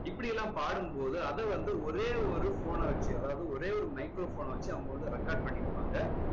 இப்படி எல்லாம் பாடும் போது அதை வந்து ஓரே ஒரு phone அ வச்சு அதாவது ஒரே ஒரு microphone ன வச்சு அவங்க வந்து record பண்ணியிருப்பாங்க